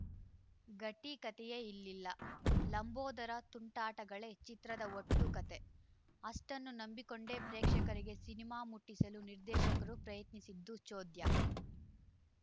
ಗಟ್ಟಿಕತೆಯೇ ಇಲಿಲ್ಲ ಲಂಬೋದರ ತುಂಟಾಟಗಳೇ ಚಿತ್ರದ ಒಟ್ಟು ಕತೆ ಅಷ್ಟನ್ನು ನಂಬಿಕೊಂಡೇ ಪ್ರೇಕ್ಷಕರಿಗೆ ಸಿನಿಮಾ ಮುಟ್ಟಿಸುಲು ನಿರ್ದೇಶಕರು ಪ್ರಯತ್ನಿಸಿದ್ದು ಚೋದ್ಯ